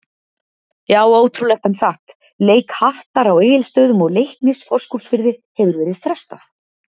Já ótrúlegt en satt, leik Hattar á Egilsstöðum og Leiknis Fáskrúðsfirði hefur verið frestað.